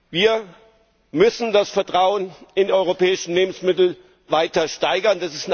Wir müssen das Vertrauen in die europäischen Lebensmittel weiter steigern.